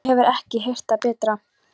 Hún hefur ekki heyrt það betra.